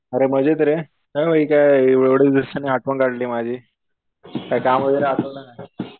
अरे मजेत रे. काय भाई काय एवढ्या दिवसांनी आठवण काढली माझी. काय काम वगैरे आठवलं काय?